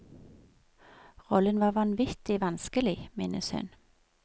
Rollen var vanvittig vanskelig, minnes hun.